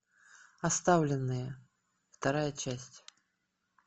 оставленные вторая часть